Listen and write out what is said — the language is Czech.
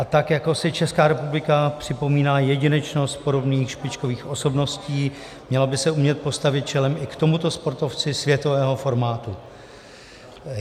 A tak jako si Česká republika připomíná jedinečnost podobných špičkových osobností, měla by se umět postavit čelem i k tomuto sportovci světového formátu.